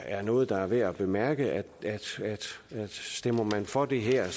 er noget der er værd at bemærke stemmer man for det her